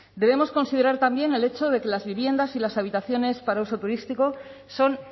debemos considerar también el hecho de que las viviendas y las habitaciones para uso turístico son